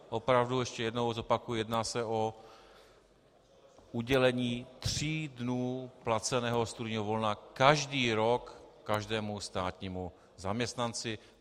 Opravdu, ještě jednou zopakuji, jedná se o udělení tří dnů placeného studijního volna každý rok každému státnímu zaměstnanci.